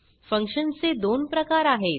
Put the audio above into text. फंक्शनचे दोन प्रकार आहेत